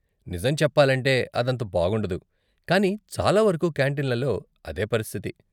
నిజం చెప్పాలంటే అదంత బాగుండదు, కానీ చాలా వరకు కాంటీన్లలో అదే పరిస్థితి.